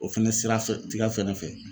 O fɛnɛ sira fɛ tiga fɛnɛ fɛ